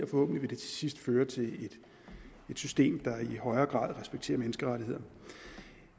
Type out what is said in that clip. forhåbentlig til sidst føre til et system der i højere grad respekterer menneskerettighederne